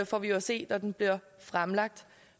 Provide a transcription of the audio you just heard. får vi jo at se når den bliver fremlagt